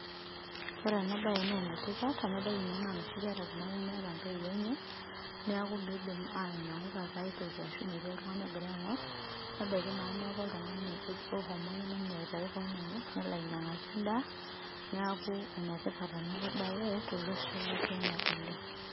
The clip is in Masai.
Ore enabae nenetipat, enadol inye nanoshi kera nemeeta ntoiwuo enye, neeku midim ainyang'u taata aitoki ashu metii oltung'ani ogira aing'or, nebaiki naa neeku oltung'ani ohomo ake ninye aitau keon enye nelo ainyang'aki endaa, neeku enetipat enabae tolosho le Kenya oleng.